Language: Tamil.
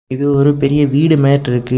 இது ஒரு பெரிய வீடு மாட்டிருக்கு.